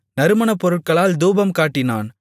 அதின்மேல் நறுமணப்பொருட்களால் தூபம்காட்டினான்